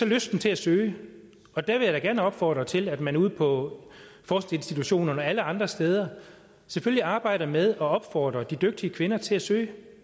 lysten til at søge og der vil jeg da gerne opfordre til at man ude på forskningsinstitutionerne og alle andre steder selvfølgelig arbejder med at opfordre de dygtige kvinder til at søge